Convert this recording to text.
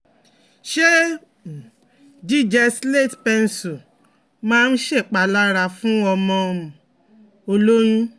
Ṣé um jíjẹ slate pencil máa ń ṣèpalára fún ọmọ um o lóyún?